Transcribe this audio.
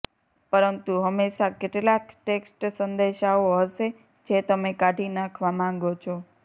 પરંતુ હંમેશાં કેટલાક ટેક્સ્ટ સંદેશાઓ હશે જે તમે કાઢી નાખવા માંગો છો